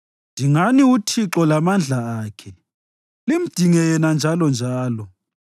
Dingani uThixo lamandla akhe, limdinge yena njalonjalo.